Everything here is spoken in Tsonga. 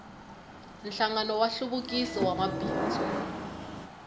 nhlangano wa nhluvukiso wa mabindzu